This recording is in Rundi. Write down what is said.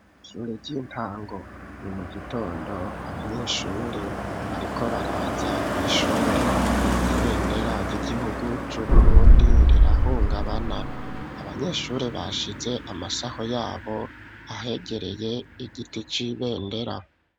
Ishure ry'intango ni mu gitondo ,abanyeshure ariko baraza kw'ishuri, ibendera ry'igihugu cy'Uburundi rirahungabana ,abanyeshuri bashize amasaho yabo ahegereye igiti c'ibendera.